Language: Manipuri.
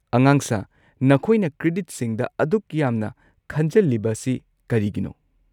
ꯑꯉꯥꯡꯁꯥ, ꯅꯈꯣꯏꯅ ꯀ꯭ꯔꯦꯗꯤꯠꯁꯤꯡꯗ ꯑꯗꯨꯛ ꯌꯥꯝꯅ ꯈꯟꯖꯜꯂꯤꯕ ꯑꯁꯤ ꯀꯔꯤꯒꯤꯅꯣ?